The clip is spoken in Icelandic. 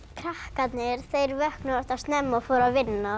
krakkarnir vöknuðu oftast snemma og fóru að vinna